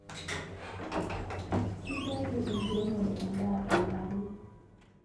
Kitayu enkiremore edaa tolmarei